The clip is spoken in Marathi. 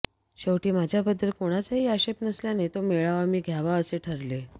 शेवटी माझ्याबद्दल कोणाचाही आक्षेप नसल्याने तो मेळावा मी घ्यावा असे ठरले